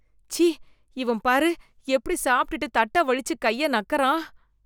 ச்சீ, இவன் பாரு எப்படி சாப்ட்டுட்டு தட்ட வழிச்சு கைய நக்குறான்.